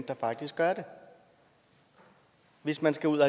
der faktisk gør det hvis man skal ud at